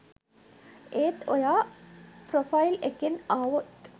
ඒත් ඔයා ප්‍රොෆයිල් එකෙන් ආවොත්